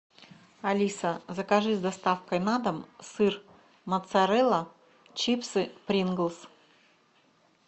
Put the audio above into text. алиса закажи с доставкой на дом сыр моцарелла чипсы принглс